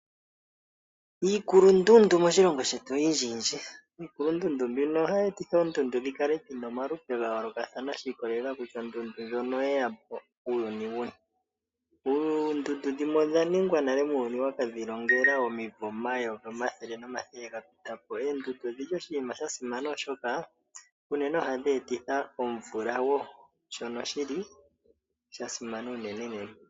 Iikulundundu moshilongo shetu oyindjiyindji, iikulundundu mbino ohayi etitha oondundu dhi kale dhina omalupe ga yoolokathana shi ikolelela kutya ondundu ndjono oye yapo uuyuni wuni. Oondundu dhimwe odha ningwa nale muuyuni waka dhilongela omayovi omathele nomathele ga pita po. Eendundu odhili oshinima shasimana oshoka unene ohadhi etitha omvula wo shono sha simana unene.